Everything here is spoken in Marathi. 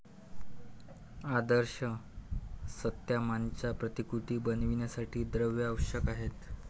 आदर्श सत्सामान्यांच्या प्रतिकृती बनविण्यासाठी द्रव्य आवश्यक आहे.